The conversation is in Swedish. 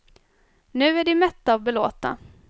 Nu är de mätta och belåtna.